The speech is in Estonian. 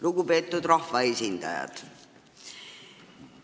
Lugupeetud rahvaesindajad!